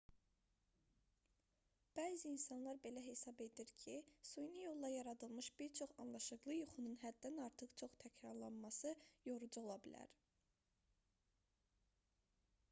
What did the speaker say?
bəzi insanlar belə hesab edir ki süni yolla yaradılmış bir çox anlaşıqlı yuxunun həddən artıq çox təkrarlanması yorucu ola bilər